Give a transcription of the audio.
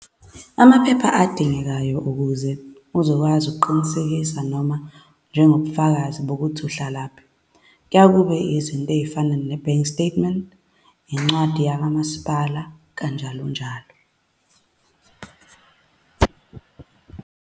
Amaphepha adingekayo ukuze uzokwazi ukuqinisekisa noma njengobufakazi bokuthi uhlalaphi, kuyaye kube izinto ezifana ne-bank statement, incwadi yakaMasipala, kanjalo njalo.